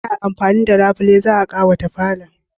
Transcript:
ana amfani da Labule za'a kawata falon.